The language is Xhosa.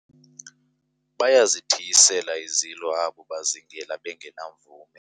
bayazithiyisela izilo abo bazingela bengenamvume